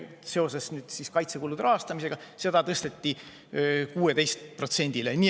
See nüüd seoses kaitsekulude rahastamisega tõsteti 16%‑le.